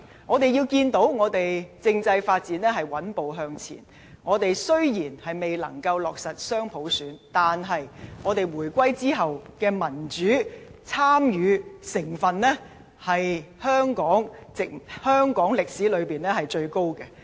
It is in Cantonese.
我們看到，政制發展穩步向前，我們雖然未能夠落實雙普選，但是回歸後的民主參與程度，是香港歷來最高的。